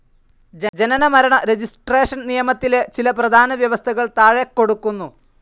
ജനന മരണ രജിസ്ട്രേഷൻ നിയമത്തിലെ ചില പ്രധാന വ്യവസ്ഥകൾ താഴെക്കൊടുക്കുന്നു.